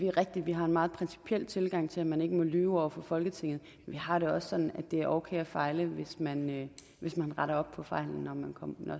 er rigtigt at vi har en meget principiel tilgang til at man ikke må lyve over for folketinget vi har det også sådan at det er okay at fejle hvis man hvis man retter op på fejlen